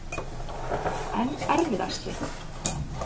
En erfiðasti?